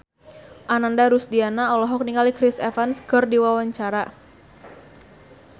Ananda Rusdiana olohok ningali Chris Evans keur diwawancara